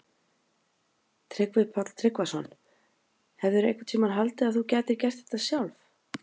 Tryggvi Páll Tryggvason: Hefðirðu einhvern tímann haldið að þú gætir gert þetta sjálf?